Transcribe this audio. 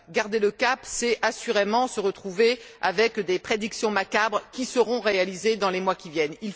Garder le cap, c'est, assurément, se retrouver avec des prédictions macabres qui seront réalisées dans les mois qui viennent.